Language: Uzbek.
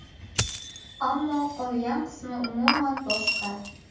Ammo qolgan qismi umuman boshqa.